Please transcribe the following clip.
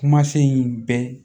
Kumasen in bɛɛ